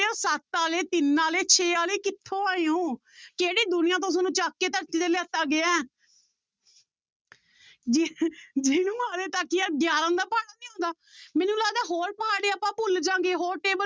ਸੱਤ ਵਾਲੇ ਤਿੰਨ ਵਾਲੇ ਛੇ ਵਾਲੇ ਕਿੱਥੋਂ ਆਏ ਹੋ ਕਿਹੜੇ ਦੁਨੀਆਂ ਤੋਂ ਤੁਹਾਨੂੰ ਚੁੱਕ ਕੇ ਧਰਤੀ ਦੇ ਲਿਆਤਾ ਗਿਆ ਹੈ ਜਿਹਨੂੰ ਹਾਲੇ ਤੱਕ ਯਾਰ ਗਿਆਰਾਂ ਦਾ ਪਹਾੜਾ ਨੀ ਆਉਂਦਾ ਮੈਨੂੰ ਲੱਗਦਾ ਹੋਰ ਪਹਾੜੇ ਆਪਾਂ ਭੁੱਲ ਜਾਵਾਂਗਾ ਹੋਰ table